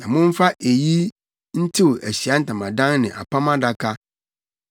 Na momfa eyi ntew Ahyiae Ntamadan ne Apam Adaka,